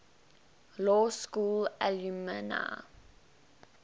law school alumni